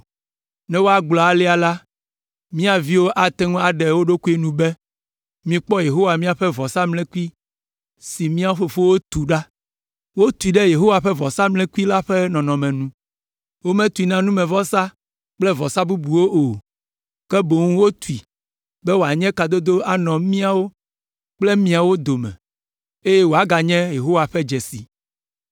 Ne woagblɔ alea la, mía viwo ate ŋu aɖe wo ɖokuiwo nu be, ‘Mikpɔ Yehowa ƒe vɔsamlekpui si mía fofowo tu ɖa! Wotui ɖe Yehowa ƒe vɔsamlekpui la ƒe nɔnɔme nu. Wometui na numevɔsa kple vɔsa bubuawo o, ke boŋ wotui be wòanye kadodo anɔ míawo kple miawo dome, eye wòaganye Yehowa ƒe dzesi.’